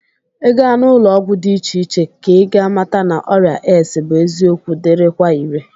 Ị gaa n'ụlọọgwụ dị iche iche ka ị ga-amata na ọrịa AIDS bụ eziokwu dịrịkwa ire